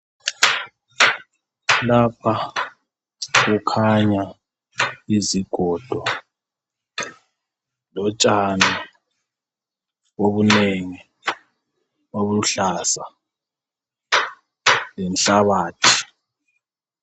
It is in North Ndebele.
Lapha kukhanya izigodo lotshani obunengi obuluhlaza lenhlabathi.